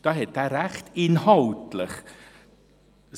Da hat er inhaltlich Recht: